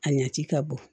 A ɲaci ka bɔ